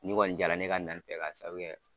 Nin kɔni jaa la ne ka na nin fɛ k'a sabu kɛ